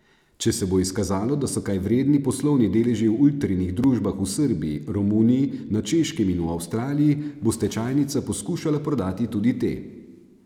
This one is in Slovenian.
Če se bo izkazalo, da so kaj vredni poslovni deleži v Ultrinih družbah v Srbiji, Romuniji, na Češkem in v Avstraliji, bo stečajnica poskušala prodati tudi te.